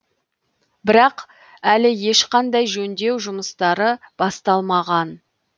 бірақ әлі ешқандай жөндеу жұмыстары басталмаған